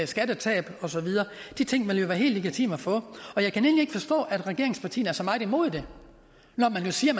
skattetab og så videre de ting vil jo være helt legitime at få og jeg kan egentlig ikke forstå at regeringspartierne er så meget imod det når man jo siger